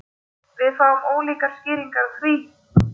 Við fáum ólíkar skýringar á því